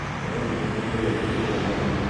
ũrerirĩria kũrĩa kĩ ũmũthĩ?